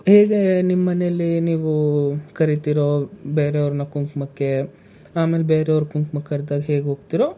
ಹೇಗೆ ನಿಮ್ ಮನೆಯಲ್ಲಿ ನೀವು ಕರೀತೀರೋ ಬೇರೆಯವರ್ನ ಕುಂಕುಮಕ್ಕೆ, ಆಮೇಲೆ ಬೇರೆಯವ್ರ ಕುಂಕುಮಕ್ಕೆ ಕರ್ದಾಗ ಹೇಗ್ ಹೋಗ್ತೀರೋ,